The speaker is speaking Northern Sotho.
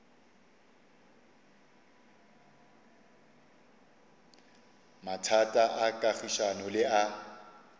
mathata a kagišano le a